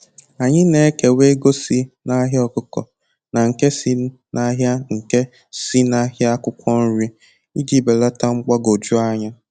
Anyị na-ekewa ego si n'ahịa ọkụkọ na nke si n'ahịa nke si n'ahịa akwụkwọ nri iji belata mgbagwoju anya.